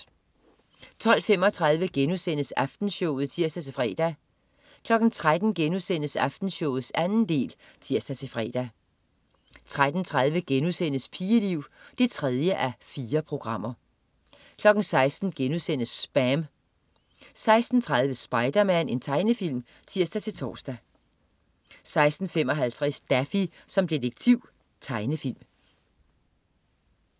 12.35 Aftenshowet* (tirs-fre) 13.00 Aftenshowet 2. del* (tirs-fre) 13.30 Pigeliv 3:4* 16.00 SPAM* 16.30 Spiderman. Tegnefilm (tirs-tors) 16.55 Daffy som detektiv. Tegnefilm